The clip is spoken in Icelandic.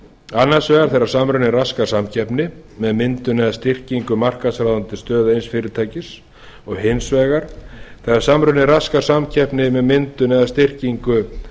annars vegar þegar samruni raskar samkeppni með myndun eða styrkingu markaðsráðandi stöðu eins fyrirtækis og hins vegar þegar samruni raskar samkeppni með myndun eða styrkingu